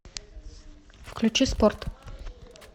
включи спорт